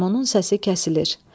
Qarmonun səsi kəsilir.